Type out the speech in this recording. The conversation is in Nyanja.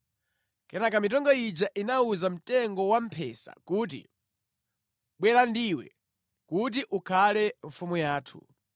Kenaka mitengo ija inawuza mtengo wamphesa kuti, “Bwera ndiwe kuti ukhale mfumu yathu.”